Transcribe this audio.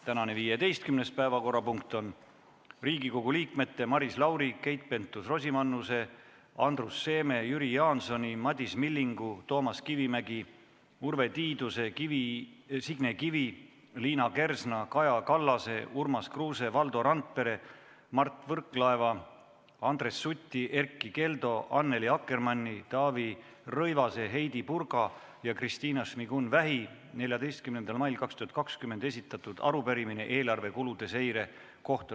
Tänane 15. päevakorrapunkt on Riigikogu liikmete Maris Lauri, Keit Pentus-Rosimannuse, Andrus Seeme, Jüri Jaansoni, Madis Millingu, Toomas Kivimägi, Urve Tiiduse, Signe Kivi, Liina Kersna, Kaja Kallase, Urmas Kruuse, Valdo Randpere, Mart Võrklaeva, Andres Suti, Erkki Keldo, Annely Akkermanni, Taavi Rõivase, Heidy Purga ja Kristina Šmigun-Vähi 14. mail 2020 esitatud arupärimine eelarve kulude seire kohta .